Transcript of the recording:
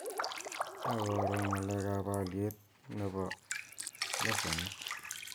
Ak koro ng'alekab aliet nebo lesenit